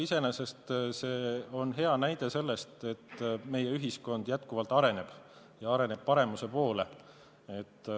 Iseenesest on see hea näide selle kohta, et meie ühiskond jätkuvalt areneb ja areneb paremuse poole.